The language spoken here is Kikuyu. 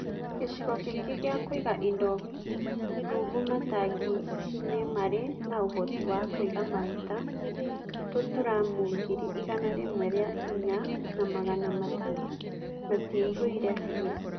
Gĩcigo kĩngĩ gĩa kũiga indo rungu matangi nĩ marĩ na ũhoti wa kũiga maguta tũturamu ngiri igana rimwe rĩa inya na magana matano matiaihũire biũ.